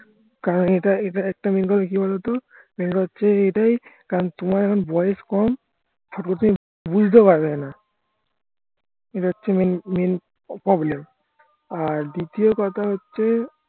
কারণ এটা এটা একটা main কথা কি বলো তো main কথা হচ্ছে এটাই কারণ তোমার এখন বয়স কম বুঝতেও পারবেনা এটা হচ্ছে main main problem আর দ্বিতীয় কথা হচ্ছে